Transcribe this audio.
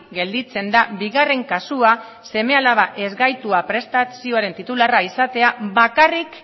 gelditzen da bigarren kasua seme alabak ezgaituak prestazioen titularra izatea bakarrik